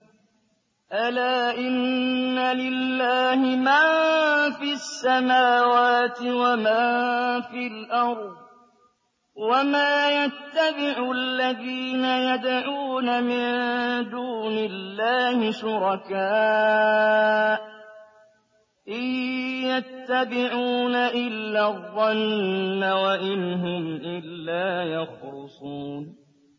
أَلَا إِنَّ لِلَّهِ مَن فِي السَّمَاوَاتِ وَمَن فِي الْأَرْضِ ۗ وَمَا يَتَّبِعُ الَّذِينَ يَدْعُونَ مِن دُونِ اللَّهِ شُرَكَاءَ ۚ إِن يَتَّبِعُونَ إِلَّا الظَّنَّ وَإِنْ هُمْ إِلَّا يَخْرُصُونَ